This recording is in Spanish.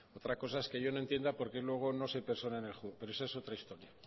otra cosa es que yo no entienda por qué luego no se persone en el juzgado pero esa es otra